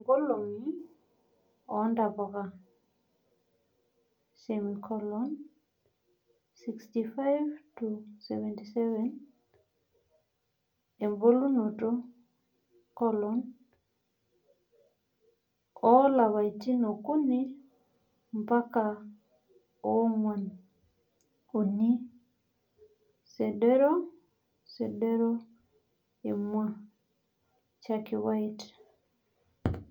nkoloni oo ntapuka:65-77 ebulunoto: oo lapatin okuni mpaka oonguan uni seredo seredo emua: chalky white